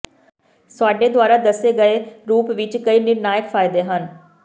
ਸਾਡੇ ਦੁਆਰਾ ਦੱਸੇ ਗਏ ਰੂਪ ਵਿੱਚ ਕਈ ਨਿਰਨਾਇਕ ਫਾਇਦੇ ਹਨ